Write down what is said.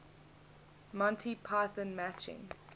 monty python matching